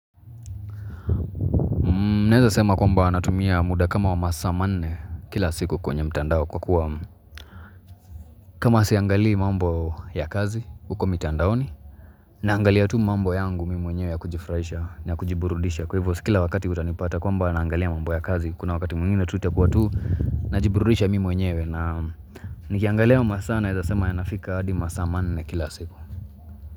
Naezasema kwamba natumia muda kama wa masaa manne kila siku kwenye mtandao kwa kuwa kama siangalii mambo ya kazi huko mitandaoni naangalia tu mambo yangu Mimi mwenyewe ya kujifruraisha na ya kujiburudisha kwa hivyo si kila wakati utanipata kwamba naangalia mambo ya kazi kuna wakati mwingine itakuwa tu na jiburudisha mimi mwenyewe na nikiangalia hayo masaa naezasema yanafika hadi masaa manne kila siku.